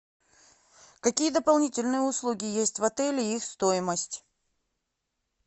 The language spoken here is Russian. какие дополнительные услуги есть в отеле и их стоимость